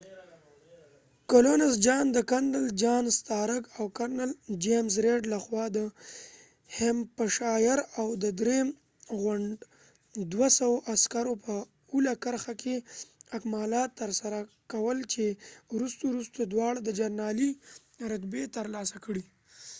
د کرنل جان سټارک colonels john stark او کرنل چېمز ریډ james reed له خوا د هیمپشایر اول او درېم غنډ دوه سوو عسکرو په اوله کرخه کې اکمالات تر سره کول چې وروسته وروسته دواړه د جنرالی رتبی تر لاسه کړي